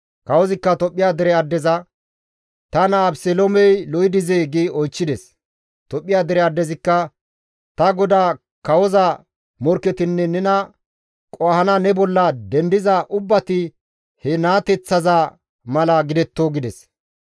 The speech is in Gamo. Kawozikka Tophphiya dere addeza, «Ta naa Abeseloomey lo7i dizee?» gi oychchides. Tophphiya dere addezikka, «Ta godaa kawoza morkketinne nena qohana ne bolla dendiza ubbati he naateththaza mala gidetto» gides.